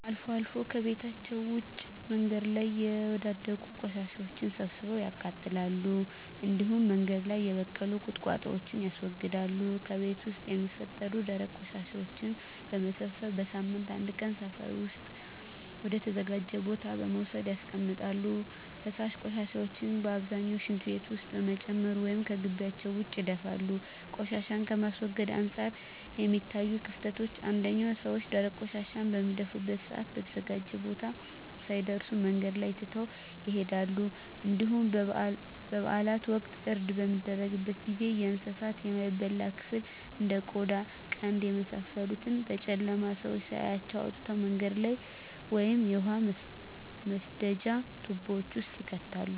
አልፎ አልፎ ከቤታቸዉ ውጭ በመንገድ ላይ የወዳደቁ ቆሻሻወችን ሰብስበው ያቃጥላሉ እንዲሁም በመንገድ ላይ የበቀሉ ቁጥቋጦወችን ያስወግዳሉ። ከቤት ውስጥ የሚፈጠሩ ደረቅ ቆሻሻወችን በመሰብሰብ በሳምንት አንድ ቀን ሰፈር ውስጥ ወደ ተዘጋጀ ቦታ በመውሰድ ያስቀምጣሉ። ፈሳሽ ቆሻሻን ግን በአብዛኛው ሽንት ቤት ውስጥ በመጨመር ወይም ከጊቢያቸው ውጭ ይደፋሉ። ቆሻሻን ከማስወገድ አንፃር የሚታዩት ክፍተቶች አንደኛ ሰወች ደረቅ ቆሻሻን በሚደፉበት ሰአት በተዘጋጀው ቦታ ሳይደርሱ መንገድ ላይ ትተው ይሄዳሉ እንዲሁም በበአላት ወቅት እርድ በሚደረግበት ጊዜ የእንሳቱን የማይበላ ክፍል እንደ ቆዳ ቀንድ የመሳሰሉትን በጨለማ ሰው ሳያያቸው አውጥተው መንገድ ላይ ወይም የውሃ መስደጃ ትቦወች ውስጥ ይከታሉ።